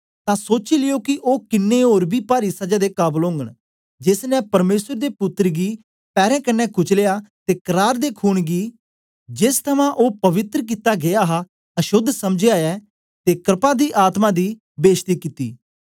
तां सोची लियो के ओ किन्नें ओर बी पारी सजा दे काबल ओगन जेस ने परमेसर दे पुत्तर गी पैरें कन्ने कुचलया ते करार दे खून गी जेस थमां ओ पवित्र कित्ता गीया हा अशोद्ध समझया ऐ ते क्रपा दी आत्मा दी बेश्ती कित्ती